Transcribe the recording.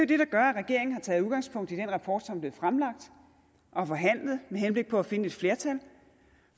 det der gør at regeringen har taget udgangspunkt i den rapport som er blevet fremlagt og forhandlet med henblik på at finde et flertal